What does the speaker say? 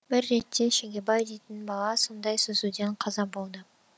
бір ретте шегебай дейтін бала сондай сүзуден қаза болды